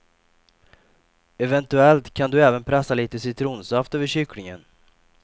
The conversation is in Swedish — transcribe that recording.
Eventuellt kan du även pressa lite citronsaft över kycklingen.